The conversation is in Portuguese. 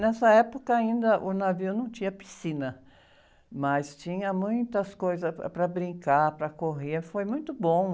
Nessa época ainda o navio não tinha piscina, mas tinha muitas coisas para, para brincar, para correr, foi muito bom.